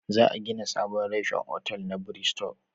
Za a gina sabon reshen otal na Biristo